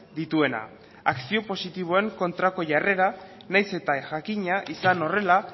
dituena akzio positiboen kontrako jarrera nahiz eta jakina izan horrela